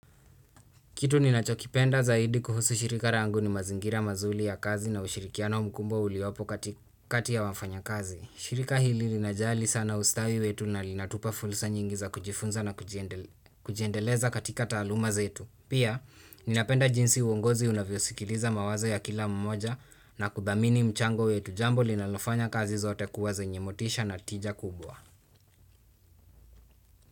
Kitu ninachokipenda zaidi kuhusu shirika langu ni mazingira mazuri ya kazi na ushirikiano mkubwa uliopo kati ya wafanyakazi. Shirika hili linajali sana ustawi wetu na linatupa fursa nyingi za kujifunza na kujiendeleza katika taaluma zetu. Pia, ninapenda jinsi uongozi unavyosikiliza mawazo ya kila mmoja na kuthamini mchango wetu, jambo linalofanya kazi zote kuwa zenye motisha na tija kubwa.